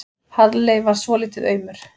Halli varð svolítið aumur.